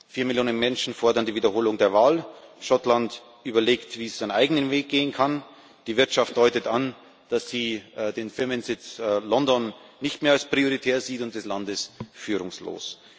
Vier Millionen Menschen fordern die Wiederholung der Wahl, Schottland überlegt, wie es seinen eigenen Weg gehen kann, die Wirtschaft deutet an, dass sie den Firmensitz London nicht mehr als prioritär sieht, und das Land ist führungslos.